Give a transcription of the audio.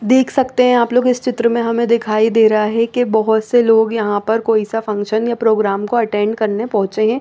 देख सकते है आप लोग इस चित्र में हमे दिखाई दे रहा है के बोहोत से लग यहाँ पर कोई सा फंशन या प्रोगराम को अटेंड करने पोहचे है।